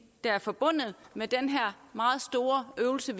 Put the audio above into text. der er forbundet med den her meget store øvelse